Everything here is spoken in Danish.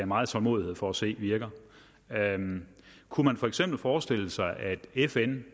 meget tålmodighed for at se virker kunne man for eksempel forestille sig at fn